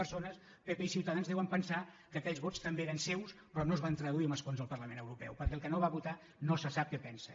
zero pp i ciutadans deuen pensar que aquells vots també eren seus però es van traduir en escons al parlament europeu perquè el que no va votar no se sap què pensa